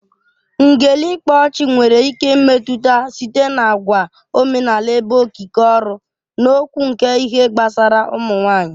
Ngele/ịkpa ọchị nwere ike imetụta site n'àgwà omenala ebe okike ọrụ na okwu nke ihe gbasara ụmụ nwanyị